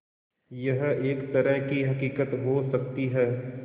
यह एक तरह की हक़ीक़त हो सकती है